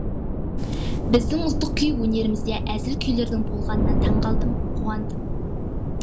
біздің ұлттық күй өнерімізде әзіл күйлердің болғанына таңғалдым қуандым